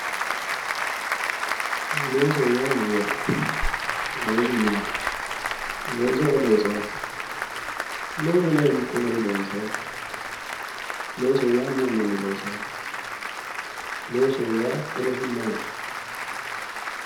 Loosu yaa mayyaate? Loosu maati? Looso ayi loosaaho? Loosoho yaa hiikko garii loonsaaho? Looso meu manni loosaaho? Loosoho yaa horosi maati?